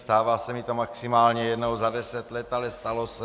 Stává se mi to maximálně jednou za deset let, ale stalo se.